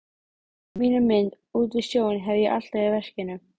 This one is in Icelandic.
En hvenær sér innanríkisráðherra fyrir sér að hún rísi?